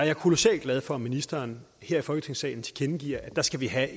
er kolossalt glad for at ministeren her i folketingssalen tilkendegiver at der skal vi have